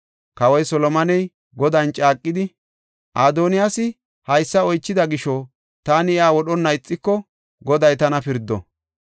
Kawoy Solomoney Godan caaqidi, “Adoniyaasi haysa oychida gisho taani iya wodhonna ixiko, Goday tana pirdo!